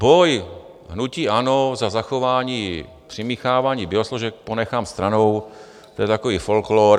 Boj hnutí ANO za zachování přimíchávání biosložek ponechám stranou, to je takový folklor.